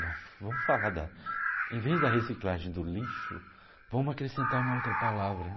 Vamos falar da, em vez da reciclagem do lixo, vamos acrescentar uma outra palavra.